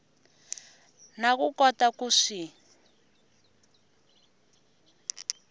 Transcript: na ku kota ku swi